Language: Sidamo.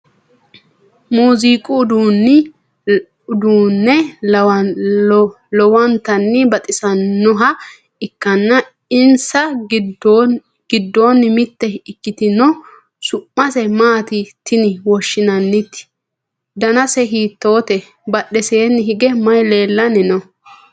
Muziiqu uduunni lowontanni baxisannoha ikkanna insa giddono mitte ikkitino su'mase maati tine woshshinannite? danase hiittoote? badheseenni hige maye leellanni no?